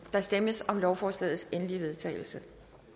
der stemmes om lovforslagets endelige vedtagelse